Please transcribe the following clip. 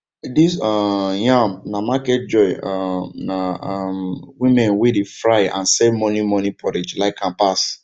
this um yam na market joy um na um women wey dey fry and sell morning morning porridge like am pass